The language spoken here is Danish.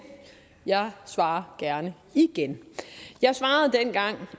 jeg svarer gerne igen jeg svarede dengang